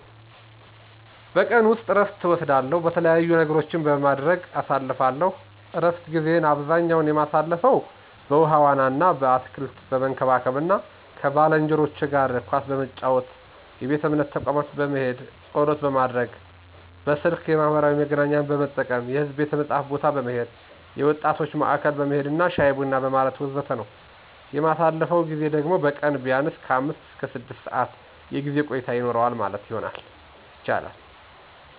በቀን ውስጥ እረፍት እወስዳለው፥ የተለያዩ ነገሮችን በማድረግ አሳልፍለው። እረፍት ጊዜየን አብዛኛ የማሳልፈው በውሀ ዋና አና አትክልት በመንከባከብ አና ከባልንጄኖቸ ጋር ኳስ በመጫወት፣ የቤተ እምነት ተቋም በመሄድ ፀሎት ማድረግ፣ በስልክ የማህበራዊ መገናኛን በመጠቀም፣ የሕዝብ ቤተ መጽሀፍት ቦታ በመሄድ፣ የወጣቶች ማዕከል በመሄድና ሻይ ቡና በማለት ወዘተ ነው። የማሳልፈው ጊዜ ደግሞ በቀን ቢያንስ ከአምስት እስከ ስድስት ሰዓት የጊዜ ቆይታ ይኖረዋል ማለት ይቻላል።